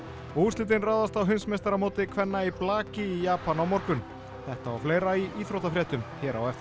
og úrslitin ráðast á heimsmeistaramóti kvenna í blaki í Japan á morgun þetta og fleira í íþróttafréttum hér á eftir